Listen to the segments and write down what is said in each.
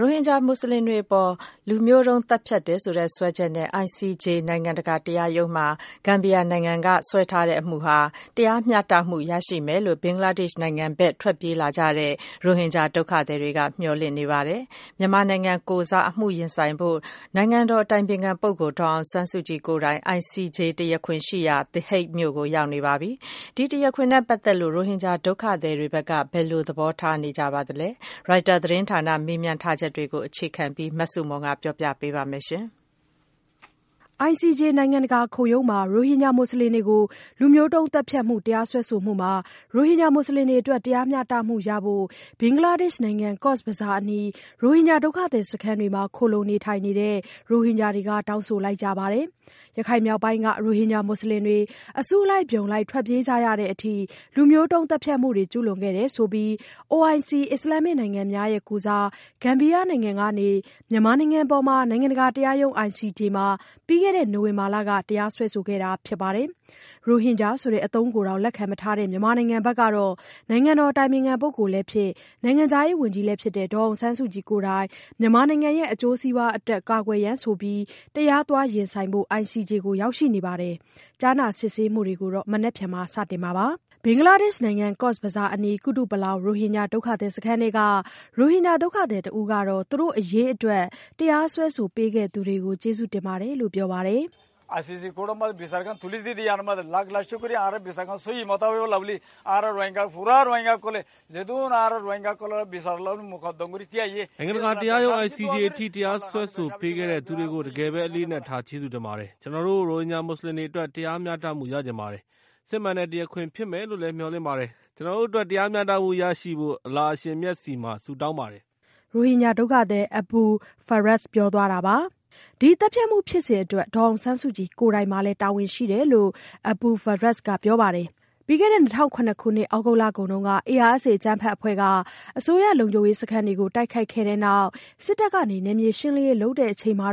ရိုဟင်ဂျာမူဆလင်တွေအပေါ် လူမျိုးတုန်းသတ်ဖြတ်တယ်ဆိုတဲ့ စွဲချက်နဲ့ ICJ နိုင်ငံတကာတရားရုံးမှာ ဂန်ဘီယာနိုင်ငံဖက်က စွဲဆိုထားတဲ့အမှုဟာ တရားမျှတမှုရရှိမယ်လို့ ဘင်္ဂလားဒေ့ရှ်နိုင်ငံဘက် ထွက်ပြေးလာကြတဲ့ ရိုဟင်ဂျာ ဒုက္ခသည်တွေဘက်က မျှော်လင့်နေပါတယ်။ မြန်မာနိုင်ငံကိုယ်စား အမှုရင်ဆိုင်ဖို့ နိုင်ငံတော်အတိုင်ပင်ခံပုဂ္ဂိုလ် ဒေါ်အောင်ဆန်းစုကြည်ကိုယ်တိုင် အခု ICJ တရားခွင်ရှိရာ the Hague မြို့ကို ရောက်ရှိနေပါပြီ။ ဒီ တရားခွင်နဲ့ပတ်သက်လို့ ရိုဟင်ဂျာဒုက္ခသည်တွေဘက်က ဘာလို သဘောထားနေကြပါသလဲ၊ Reuters သတင်းဌာန မေးမြန်းထားချက်တွေကို အခြေခံပြီး မဆုမွန်က တင်ပြပေးပါမယ်။ နိုင်ငံတကာတရားရုံး ICJမှာ ရိုဟင်ဂျာမူဆလင်တွေကို လူမျိုးတုန်းသတ်ဖြတ်မှုတရားစွဲဆိုမှုမှာ ရိုဟင်ဂျာမူဆလင်တွေအတွက် တရားမျှတမှုရဖို့ ဘင်္ဂလားဒေ့ရှ်နိုင်ငံ ကော့ဇ်ဘဇားအနီး ရိုဟင်ဂျာဒုက္ခသည်စခန်းတွေမှာ ခိုလှုံနေထိုင်တဲ့ ရိုဟင်ဂျာတွေက တောင်းဆိုကြပါတယ်။ ရခိုင်မြောက်ပိုင်းက ရိုဟင်ဂျာမူဆလင်တွေ အစုအပြုံလိုက် ထွက်ပြေးကြရတဲ့အထိ လူမျိုးတုန်း သတ်ဖြတ်မှုတွေ ကျူးလွန်ခဲ့တယ်ဆိုပြီး OIC အစ္စလာမစ်နိုင်ငံတွေရဲ့ကိုယ်စား ဂမ်ဘီယာနိုင်ငံကနေ မြန်မာနိုင်ငံအပေါ် နိုင်ငံတကာတရားရုံး ICJ မှာ ပြီးခဲ့တဲ့ နိုဝင်ဘာလက တရားစွဲဆိုခဲ့တာဖြစ်ပါတယ်။ ရိုဟင်ဂျာဆိုတဲ့အသုံးကိုတောင် လက်ခံမထားတဲ့ မြန်မာနိုင်ငံဘက်က နိုင်ငံတော်အတိုင်ပင်ခံ ပုဂ္ဂိုလ်လည်းဖြစ် နိုင်ငံခြားရေးဝန်ကြီးဖြစ်တဲ့ ဒေါ်အောင်ဆန်းစုကြည် ကိုယ်တိုင် မြန်မာနိုင်ငံရဲ့အကျိုးစီးပွားအတွက်ကာကွယ်ရန်ဆိုပြီး တရားသွားရင်ဆိုင်ဖို့ ICJ ကို ရောက်ရှိနေပါတယ်။ ကြားနာစစ်ဆေးမှုတွေကို မနက်ဖြန်မှာ စတင်မှာပါ။ ဘင်္ဂလားဒေ့ရှ်နိုင်ငံ ကော့ဇ်ဘဇားအနီး ကုတုပလောင်ရိုဟင်ဂျာစခန်းထဲက ရိုဟင်ဂျာဒုက္ခသည် တဦးကတော့ သူတို့အရေးအတွက် တရားစွဲဆိုပေးခဲ့သူတွေကို ကျေးဇူးတင်တယ်လို့ ပြောပါတယ်။ “နိုင်ငံတကာတရားရုံး ICJ အထိ တရားစွဲဆိုပေးခဲ့တဲ့သူတွေကို တကယ်ပဲ အလေးအနက်ထား ကျေးဇူးတင်ပါတယ်။ ကျနော်တို့ ရိုဟင်ဂျာမူဆလင်တွေအတွက် တရားမျှတမှုရချင်ပါတယ်။ စစ်မှန်တဲ့ တရားခွင်ဖြစ်မယ်လို့လည်း မျှော်လင့်ပါတယ်။ ကျနော်တို့အတွက် တရားမျှတမှုရဖို့ အလ္လာအရှင်မြတ်ဆီမှာ ဆုတောင်းပါတယ်။” ရိုဟင်ဂျာဒုက္ခသည် Abul Fayaz ပြောသွားတာပါ။ ဒီ သတ်ဖြတ်မှုဖြစ်စဉ်အတွက် ဒေါ်အောင်ဆန်းစုကြည်ကိုယ်တိုင်မှာလည်း တာဝန်ရှိတယ်လို့လည်း Abu Fayaz က ပြောပါတယ်။ ပြီးခဲ့တဲ့နှစ်၂၀၁၇ ဩဂုတ်လကုန်တုန်းက ARSA အကြမ်းဖက်အဖွဲ့က အစိုးရလုံခြုံရေးစခန်းတွေကို တိုက်ခိုက်ခဲ့တဲ့နောက်၊ စစ်တပ်က နယ်မြေရှင်းလင်းရေးလုပ်ရာမှာ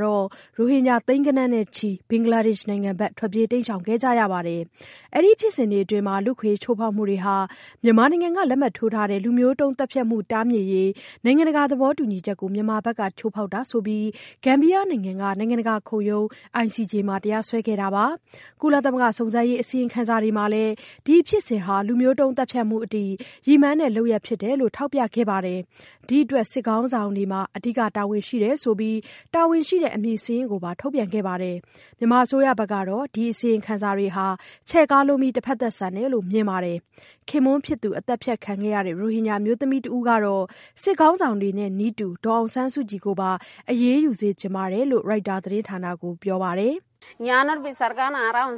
ရိုဟင်ဂျာ သိန်းဂဏန်း ဘင်္ဂလားဒေ့ရှ်နိုင်ငံဘက် ထွက်ပြေးတိမ်းရှောင်ခဲ့ကြရပါတယ်။ အဲဒီဖြစ်စဉ်အတွင်း လူ့အခွင့်အရေးချိုးဖောက်မှုတွေဟာ မြန်မာနိုင်ငံက လက်မှတ်ထိုးထားတဲ့ လူမျိုးတုန်းသတ်ဖြတ်မှုတားမြစ်ရေးနိုင်ငံတကာသဘောတူညီချက်ကို မြန်မာဖက်က ချိုးဖောက်တာဆိုပြီး ဂန်ဘီယာနိုင်ငံက ICJ မှာ တရားစွဲခဲ့တာပါ။ ကုလသမဂ္ဂစုံစမ်းရေးအစီရင်ခံစာတွေမှာလည်း ဒီဖြစ်စဉ်ဟာ လူမျိုးတုန်းသတ်ဖြတ်မှုအထိ ရည်မှန်းတဲ့လုပ်ရပ်ဖြစ်တယ်လို့ ထောက်ပြခဲ့ပါတယ်။ ဒီအတွက် စစ်ခေါင်းဆောင်တွေမှာ အဓိကတာဝန်ရှိတယ်ဆိုပြီး တာဝန်ရှိတဲ့အမည်စာရင်းကိုပါ ထုတ်ပြန်ခဲ့ပါတယ်။ မြန်မာအစိုးရဘက်ကတော့ ဒီအစီရင်ခံစာတွေဟာ ချဲ့ကားပြီး တဖက်သပ်ဆန်တယ်လို့ မြင်ပါတယ်။ ခင်ပွန်းဖြစ်သူ အသတ်ဖြတ်ခံခဲ့ရတဲ့ ရိုဟင်ဂျာအမျိုးသမီးတဦးကတော့ စစ်ခေါင်းဆောင်တွေနည်းတူ ဒေါ်အောင်ဆန်းစုကြည်ကိုပါ အရေးယူစေချင်တယ်လို့ ရိုက်တာသတင်းဌာနကို ပြောပါတယ်။ “ မြန်မာစစ်တပ်ကို အရေးယူ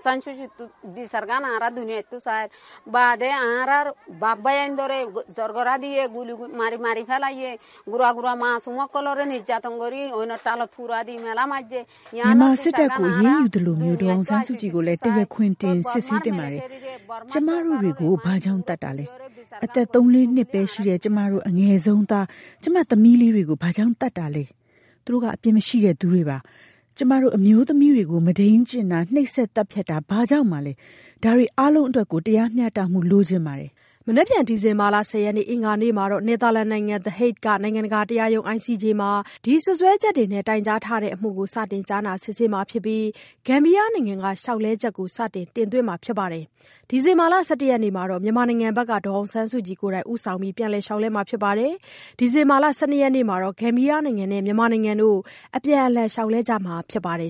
သလိုမျိုး ဒေါ်အောင်ဆန်းစုကြည်ကိုလည်း တရားခွင်တင် စစ်ဆေးသင့်ပါတယ်။ ကျမတို့တွေကို ဘာကြောင့် သတ်တာလဲ။ အသက် သုံး လေးနှစ်ပဲရှိတဲ့ ကျမတို့အငယ်ဆုံးသား ကျမသမီးလေးတွေကို ဘာကြောင့်သတ်တာလဲ။ သူတို့က အပြစ်မရှိတဲ့သူတွေပါ။ ကျမတို့ အမျိုးသမီးတွေကို မုဒိန်းကျင့်တာ၊ နှိပ်စက်သတ်ဖြတ်တာ ဘာကြောင့်ပါလဲ။ ဒါတွေအားလုံးအတွက် တရားမျှတမှုလိုချင်ပါတယ်။” မနက်ဖြန်ဒီဇင်ဘာလ ၁၀ရက်နေ့ အင်္ဂါနေ့မှာတော့ နယ်သာလန်နိုင်ငံ The Hague က နိုင်ငံတကာတရားရုံးမှာတော့ ဒီ စွပ်စွဲချက်တွေနဲ့ တိုင်ကြားထားတဲ့ အမှုကို စတင်ကြားနာစစ်ဆေးမှာ ဖြစ်ပြီး ဂမ်ဘီယာနိုင်ငံက လျှောက်လဲချက်ကိုစတင်တင်သွင်းမှာဖြစ်ပါတယ်။ ဒီဇင်ဘာလ ၁၁ရက်နေ့မှာတော့ မြန်မာနိုင်ငံဘက်က ဒေါ်အောင်ဆန်းစုကြည်ကိုယ်တိုင်ဦးဆောင်ပြီး ပြန်လည်လျှောက်လဲမှာဖြစ်ပါတယ်။ဒီဇင်ဘာ ၁၂ရက်နေ့မှာတော့ ဂမ်ဘီယာနိုင်ငံနဲ့ မြန်မာနိုင်ငံတို့ အပြန်အလှန် လျှောက်လဲကြမှာဖြစ်ပါတယ်